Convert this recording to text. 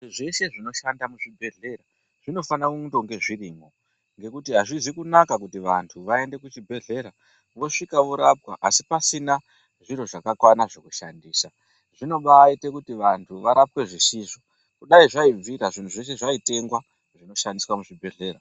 Zveshe zvinoshanda muzvibhedhlera zvinge zvirimo ngekuti azhizi kunaka kuti vantu vaende kuzvibhedhlera vosvika Pasi pasina zviro zvakawanda zvekushandisa zvinoita kuti vantu varapwe zvisizvo kudai zviro zveshe zvautengwa zvinoshandiswa muzvibhedhlera.